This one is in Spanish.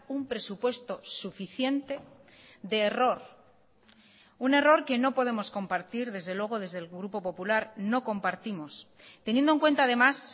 un presupuesto suficiente de error un error que no podemos compartir desde luego desde el grupo popular no compartimos teniendo en cuenta además